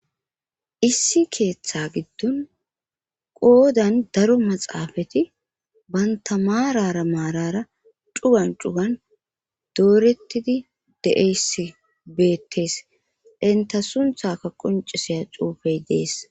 issi keeththa giddon qoodan daro maxaafati baynta marara maarara cugan cugan doorettidi de7eyss beettees enta sunthaka qoncisiya xuufey dees